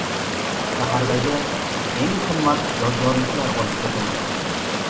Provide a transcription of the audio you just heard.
Shahardagi eng qimmatli yodgorliklar olib ketilgan.